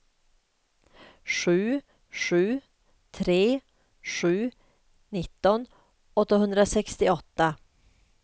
sju sju tre sju nitton åttahundrasextioåtta